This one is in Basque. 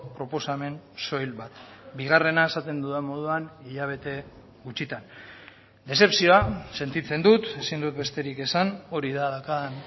proposamen soil bat bigarrena esaten dudan moduan hilabete gutxitan dezepzioa sentitzen dut ezin dut besterik esan hori da daukan